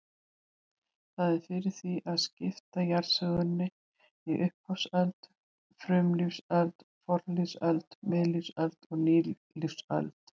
Hefð er fyrir því að skipta jarðsögunni í upphafsöld, frumlífsöld, fornlífsöld, miðlífsöld og nýlífsöld.